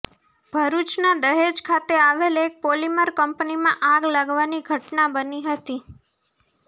ભરૂચના દહેજ ખાતે આવેલ એક પોલીમર કંપનીમાં આગ લાગવાની ઘટના બની હતી